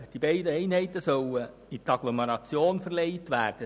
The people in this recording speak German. Die beiden Einheiten sollen in die Agglomeration verlegt werden.